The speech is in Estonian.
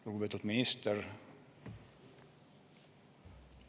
Lugupeetud minister!